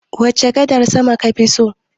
Wace gadar sama kafi so?